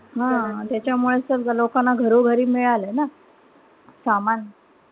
हां. त्याच्यामुळे समजा लोकांना घरोघरी मिळालं ना. सामान.